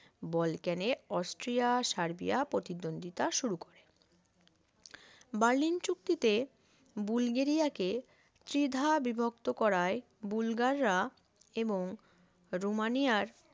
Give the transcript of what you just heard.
এইভাবে বলকেনে Austria Serbia প্রতিদ্বন্দ্বিতা শুরু করে বার্লিন চুক্তিতে বুলগেরিয়া কে দ্বিধা বিভক্ত করায় বুলগাররা এবং রোমানিয়ার